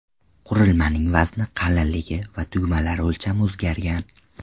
Qurilmaning vazni, qalinligi va tugmalari o‘lchami o‘zgargan.